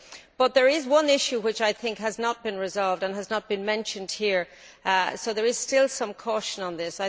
But there is one issue which I think has not been resolved and has not been mentioned here so there is still some caution on this.